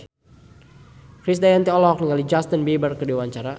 Krisdayanti olohok ningali Justin Beiber keur diwawancara